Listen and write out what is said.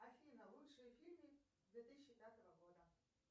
афина лучшие фильмы две тысячи пятого года